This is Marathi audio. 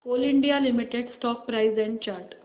Coal India Limited stock price and chart